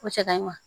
Cɛ ka ɲi ma